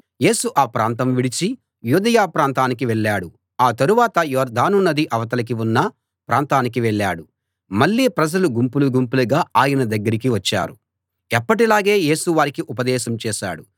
యేసు ఆ ప్రాంతం విడిచి యూదయ ప్రాంతానికి వెళ్ళాడు ఆ తరువాత యొర్దాను నదికి అవతల ఉన్న ప్రాంతానికి వెళ్ళాడు మళ్ళీ ప్రజలు గుంపులు గుంపులుగా ఆయన దగ్గరికి వచ్చారు ఎప్పటిలాగే యేసు వారికి ఉపదేశం చేశాడు